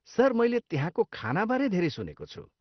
Sir, मैले त्यहाँको खानाबारे धेरै सुनेको छु।